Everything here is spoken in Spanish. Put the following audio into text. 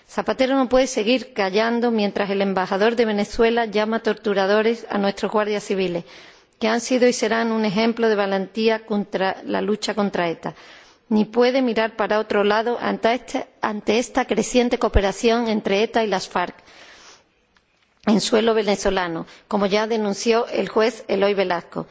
Zapatero no puede seguir callando mientras el Embajador de Venezuela llama torturadores a nuestros guardias civiles —que han sido y serán un ejemplo de valentía en la lucha contra ETA—, ni puede mirar para otro lado ante esta creciente cooperación entre ETA y las FARC en suelo venezolano, como ya denunció el juez Eloy Velasco.